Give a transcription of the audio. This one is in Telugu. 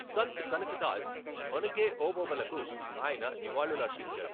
సంత్ కనకదాస్, ఒనకే ఓబవ్వలకు ఆయన నివాళులర్పించారు.